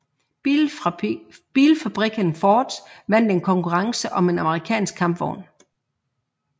Bilfabrikken Ford vandt en konkurrence om en amerikansk kampvogn